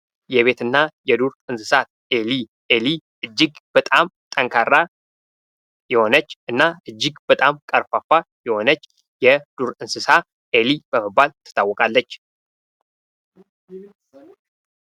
የቤት እና የዱር እንስሳት ። ኤሊ ፤ ኤሊ እጅግ በጣም ጠንካራ የሆነች እና እጅግ በጣም ቀርፋፋ የሆነች የዱር እንስሳ ኤሊ በመባል ትታወቃለች ።